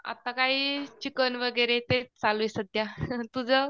आता काही चिकन वगैरे तेच चालू आहे सध्या तुझं